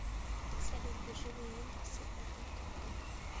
салют биржевые индексы это как